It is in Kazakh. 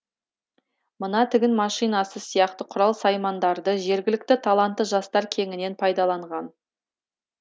мына тігін машинасы сияқты құрал саймандарды жергілікті талантты жастар кеңінен пайдаланған